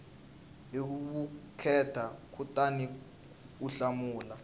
hi vukheta kutani u hlamula